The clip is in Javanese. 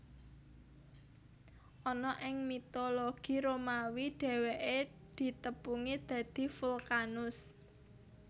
Ana ing mitologi Romawi dhèwèké ditepungi dadi Vulkanus